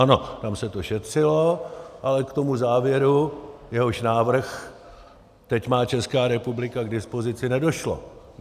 Ano, tam se to šetřilo, ale k tomu závěru, jehož návrh teď má Česká republika k dispozici, nedošlo.